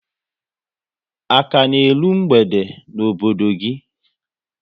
A ka na eru mgbede n'obodo gị?